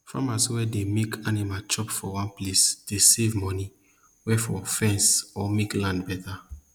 farmers wey dey make animal chop for one place dey save money wey for fence or make land better